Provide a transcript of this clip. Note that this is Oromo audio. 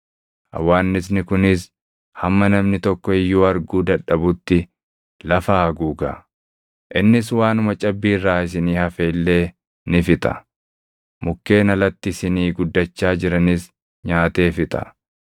Hawwaannisni kunis hamma namni tokko iyyuu arguu dadhabutti lafa haguuga. Innis waanuma cabbii irraa isinii hafe illee ni fixa; mukkeen alatti isinii guddachaa jiranis nyaatee fixa.